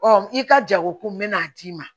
i ka jago ko n bɛna a d'i ma